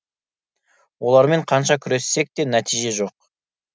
олармен қанша күрессек те нәтиже жоқ